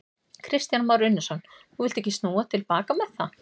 Kristján Már Unnarsson: Þú villt ekki snúa til baka með það?